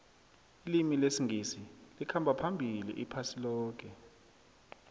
ilimi lesingisi likhamba phambili iphasi loke